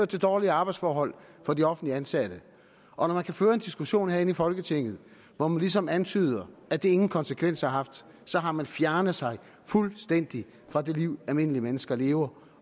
til dårlige arbejdsforhold for de offentligt ansatte og når man kan føre en diskussion her i folketinget hvor man ligesom antyder at det ingen konsekvenser har haft så har man fjernet sig fuldstændig fra det liv almindelige mennesker lever